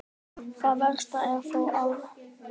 Það versta er þó ótalið.